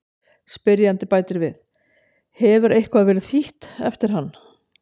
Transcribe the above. Spyrjandi bætir við: Hefur eitthvað verið þýtt eftir hann?